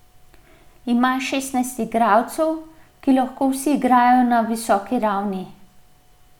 Ima šestnajst igralcev, ki lahko vsi igrajo na visoki ravni.